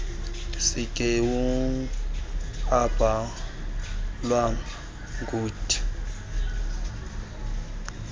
sigeawu obhalwe ngud